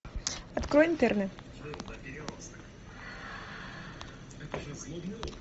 открой интерны